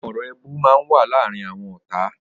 Awọn ọrọ éébù mà n wà làárin awọn ọ̀tá